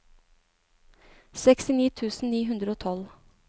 sekstini tusen ni hundre og tolv